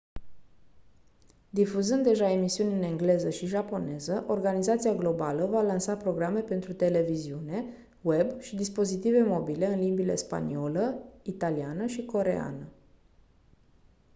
difuzând deja emisiuni în engleză și japoneză organizația globală va lansa programe pentru televiziune web și dispozitive mobile în limbile spaniolă italiană și coreeană